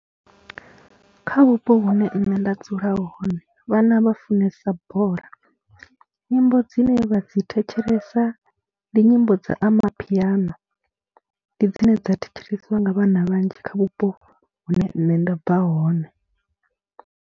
Kha vhupo vhune nṋe nda dzula hone vhana vha funesa bola, nyimbo dzine vha dzi thetshelesa ndi nyimbo dza Amapiano, ndi dzine dza thetshelesiwa nga vhana vhanzhi kha vhupo hune nṋe nda bva hone.